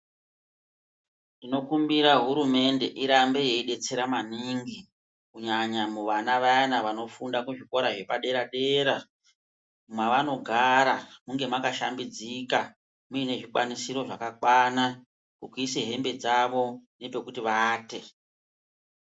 Tinokumbira hurumende irambe yeidetsera maningi kunyanya muvana vaya vanofunda kuzvikora zvepadera dera mwavanogara muve mwakashambidzika mune zvikwanisiro zvakakwana pekuise hembe dzavo nepekuti vaate.